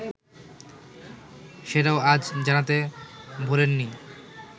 সেটাও আজ জানাতে ভোলেননি